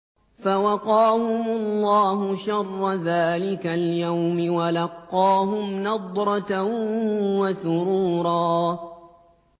فَوَقَاهُمُ اللَّهُ شَرَّ ذَٰلِكَ الْيَوْمِ وَلَقَّاهُمْ نَضْرَةً وَسُرُورًا